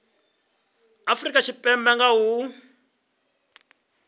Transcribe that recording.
afrika tshipembe nga ha u